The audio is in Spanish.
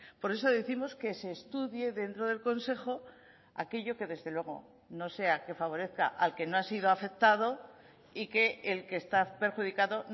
por eso décimos que se estudie dentro del consejo aquello que desde luego no sea que favorezca al que no ha sido afectado y que el que está perjudicado